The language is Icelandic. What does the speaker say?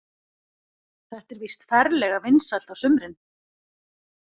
Þetta er víst ferlega vinsælt á sumrin.